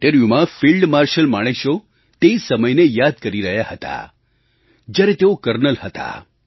તે ઇન્ટરવ્યૂમાં field marshal Manekshaw તે સમયને યાદ કરી રહ્યા હતા જ્યારે તેઓ કર્નલ હતા